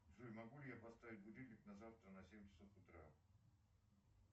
джой могу ли я поставить будильник на завтра на семь часов утра